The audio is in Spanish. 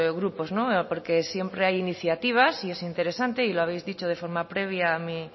grupos no porque siempre hay iniciativas y es interesante y lo habéis dicho de forma previa a mí